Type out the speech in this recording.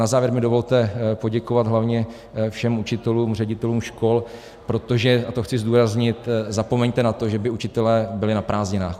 Na závěr mi dovolte poděkovat hlavně všem učitelům, ředitelům škol, protože - a to chci zdůraznit - zapomeňte na to, že by učitelé byli na prázdninách.